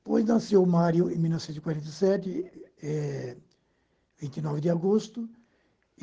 Depois nasceu o Mário, em mil novecentos e quarenta e sete, é vinte e nove de agosto.